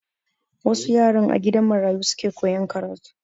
Wasu yaran a gidan marayu suke koyan karatu.